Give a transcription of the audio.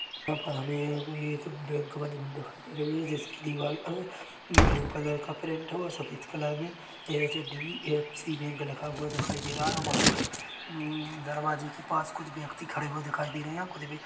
यहाँ पर हमे एक बैंक बनी हुई दिखाई दे रही है जिसकी दीवार अ ब्लू कलर की प्रिंट और सफेद कलर की H D F C bank लिखा हुआ दिखाई दे रहा है वँहाँ पर दरवाजे के पास कुछ व्यक्ति खड़े हुआ दिखाई दे रहे है। कुछ भी